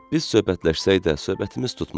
Biz söhbətləşsək də, söhbətimiz tutmaz.